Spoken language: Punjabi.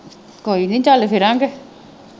ਕੋਈ ਨਹੀਂ ਚੱਲ ਫਿਰਾਂਗੇ।